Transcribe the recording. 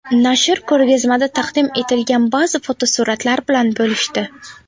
Nashr ko‘rgazmada taqdim etilgan ba’zi fotosuratlar bilan bo‘lishdi.